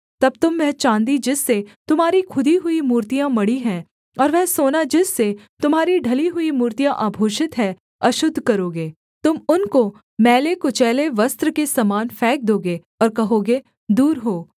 तब तुम वह चाँदी जिससे तुम्हारी खुदी हुई मूर्तियाँ मढ़ी हैं और वह सोना जिससे तुम्हारी ढली हुई मूर्तियाँ आभूषित हैं अशुद्ध करोगे तुम उनको मैले कुचैले वस्त्र के समान फेंक दोगे और कहोगे दूर हो